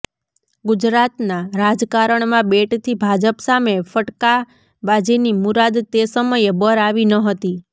ગુજરાતના રાજકારણમાં બેટથી ભાજપ સામે ફટકાબાજીની મુરાદ તે સમયે બર આવી ન હતી